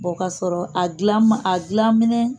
k'a sɔrɔ a dilan minɛ